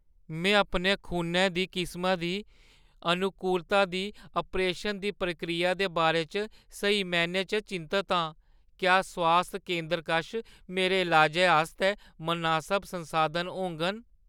में अपने खूनै दी किसमा दी अनुकूलता दी आप्रेशन दी प्रक्रिया दे बारे च स्हेई मैह्‌नें च चिंतत आं। क्या स्वास्थ केंदरै कश मेरे इलाजै आस्तै मनासब संसाधन होङन?